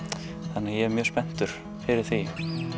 þannig ég er mjög spenntur fyrir því